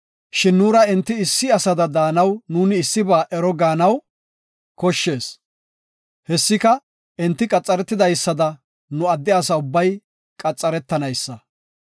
Shin nuura enti issi asada de7anaw nuuni issiba ero gaanaw koshshees. Hessika, enti qaxaretidaysada nu adde asa ubbay qaxaretanaysa.